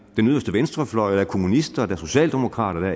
den yderste venstrefløj der er kommunister der er socialdemokrater og